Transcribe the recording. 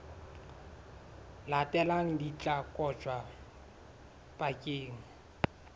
latelang di tla kotjwa bakeng